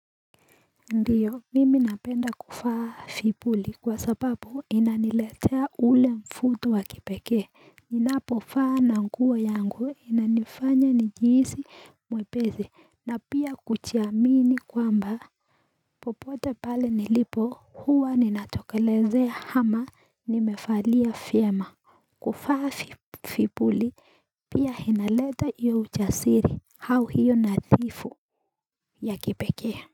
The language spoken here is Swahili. Ndiyo mimi napenda kufaa fibuli kwa sababu inaniletea ule mvuto wa kipekee Ninapo faa na nguo yangu inanifanya nijiisi mwepesi na pia kujiamini kwamba popote pale nilipo huwa ninatokelezea hama nimefalia fiema kufaa fipuli pia hinaleta iyo ujasiri hau hiyo nadhifu ya kipekee.